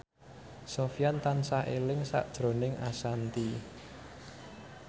Sofyan tansah eling sakjroning Ashanti